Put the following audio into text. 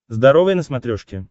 здоровое на смотрешке